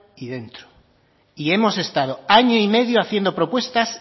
y dentro y hemos estado año y medio haciendo propuestas